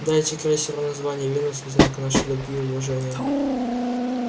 дайте крейсеру название венус в знак нашей любви и уважения